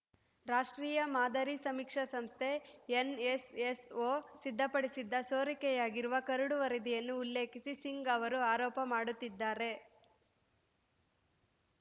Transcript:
ರಾಷ್ಟ್ರೀಯ ಮಾದರಿ ಸಮೀಕ್ಷಾ ಸಂಸ್ಥೆ ಎನ್‌ಎಸ್‌ಎಸ್‌ಒ ಸಿದ್ಧಪಡಿಸಿದ್ದ ಸೋರಿಕೆಯಾಗಿರುವ ಕರಡು ವರದಿಯನ್ನು ಉಲ್ಲೇಖಿಸಿ ಸಿಂಗ್‌ ಅವರು ಆರೋಪ ಮಾಡುತ್ತಿದ್ದಾರೆ